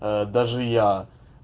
а даже я